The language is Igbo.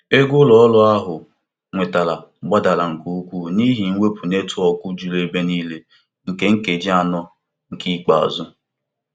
Ngalaba ozi na um teknụzụ nke ụlọ ọrụ ahụ na-arụ ọrụ iji dozie um nsogbu njikọ netwọkụ ozugbo.